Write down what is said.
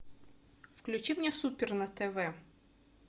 включи мне супер на тв